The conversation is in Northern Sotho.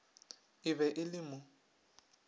e be e le mo